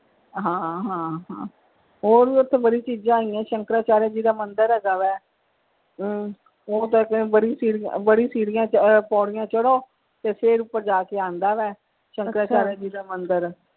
ਹਾਂ ਹਾਂ ਹਾਂ ਹੋਰ ਵੀ ਓਥੇ ਬੜੀ ਚੀਜ਼ਾਂ ਹੈਗੀਆਂ ਨੇ ਸ਼ੰਕਰਾ ਚਾਰਿਆ ਜੀ ਦਾ ਮੰਦਿਰ ਹੈਗਾ ਵਾ ਹਮ ਬੜੀ ਸੀਡੀਆਂ ਆਹ ਪੌੜੀਆਂ ਚੜੋ ਤੇ ਫਿਰ ਉੱਪਰ ਜਾ ਕੇ ਆਂਦਾ ਵਾ ਸ਼ੰਕਰ ਚਾਰਿਆ ਜੀ ਦਾ ਮੰਦਿਰ।